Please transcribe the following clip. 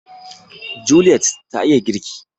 Juliet ta iya girki